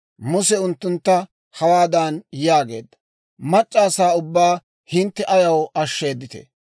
Muse unttuntta hawaadan yaageedda; «Mac'c'a asaa ubbaa hintte ayaw ashsheeditee?